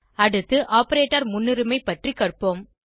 அடுத்து ஆப்பரேட்டர் முன்னுரிமை பற்றி கற்போம்